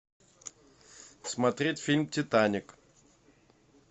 смотреть фильм титаник